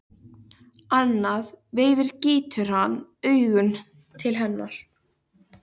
Annað veifið gýtur hann augunum til hennar.